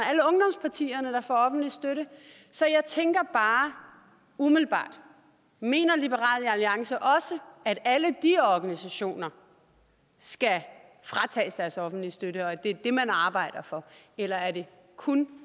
og offentlig støtte så jeg tænker bare umiddelbart mener liberal alliance også at alle de organisationer skal fratages deres offentlige støtte og at det er det man arbejder for eller er det kun